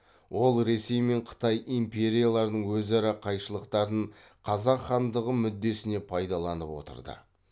ол ресей мен қытай империяларының өзара қайшылықтарын қазақ хандығы мүддесіне пайдаланып отырды